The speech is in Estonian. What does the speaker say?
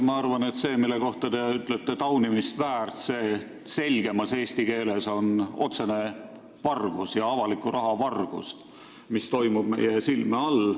Ma arvan, et see, mille kohta te ütlete "taunimist väärt", on selgemas eesti keeles otsene avaliku raha vargus, mis toimub meie silme all.